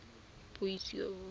puiso